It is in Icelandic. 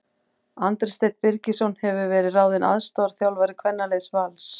Andri Steinn Birgisson hefur verið ráðinn aðstoðarþjálfari kvennaliðs Vals.